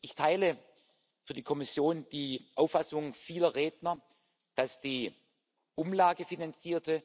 Ich teile für die Kommission die Auffassung vieler Redner, dass die umlagefinanzierte